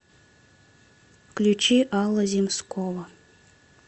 включи алла земскова